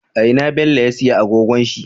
A ina bello ya siya agogon shi?